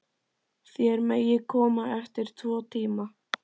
Þér megið koma eftir tvo tíma.